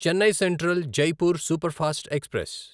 Chennai central Jaipur superfast express